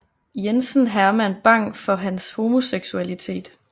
Jensen Herman Bang for hans homoseksualitet